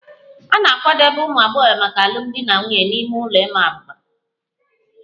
A na-akwadebe ụmụ agbọghọ maka alụmdi na nwunye n'ime ụlọ ịma abuba